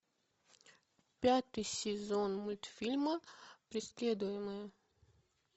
пятый сезон мультфильма преследуемые